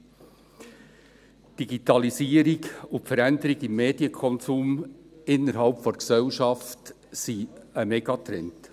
Die Digitalisierung und die Veränderung des Medienkonsums innerhalb der Gesellschaft sind Megatrends.